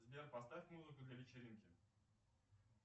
сбер поставь музыку для вечеринки